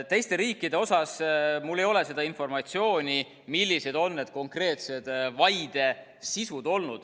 Teiste riikide kohta mul ei ole seda informatsiooni, millised on olnud need konkreetsed vaide sisud.